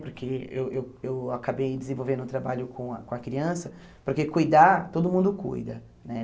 Porque eu eu eu acabei desenvolvendo um trabalho com a com a criança, porque cuidar, todo mundo cuida, né?